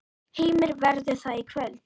Heimir: Verður það í kvöld?